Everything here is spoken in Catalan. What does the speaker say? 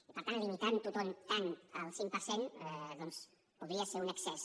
i per tant limitar ho tot tant al cinc per cent doncs podria ser un excés